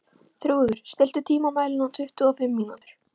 Þrúður, stilltu tímamælinn á tuttugu og fimm mínútur.